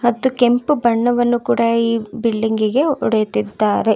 ಮತ್ತು ಕೆಂಪು ಬಣ್ಣವನ್ನು ಕೂಡ ಬಿಲ್ಡಿಂಗ್ ಇಗೆ ಹೊಡೆದಿದ್ದಾರೆ.